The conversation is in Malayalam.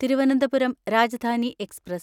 തിരുവനന്തപുരം രാജധാനി എക്സ്പ്രസ്